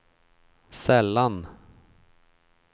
sällan